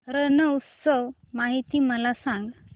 रण उत्सव माहिती मला सांग